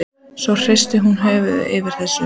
Ég veit ekki einu sinni hvort Stórfurstanum er alvara.